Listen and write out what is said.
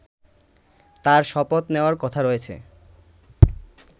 তার শপথ নেওয়ার কথা রয়েছে